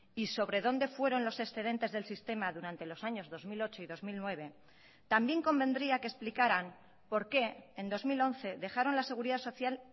y sobre dónde fueron los excedentes del sistema durante los años dos mil ocho y dos mil nueve también convendría que explicaran por qué en dos mil once dejaron la seguridad social